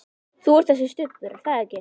Þú ert þessi Stubbur, er það ekki?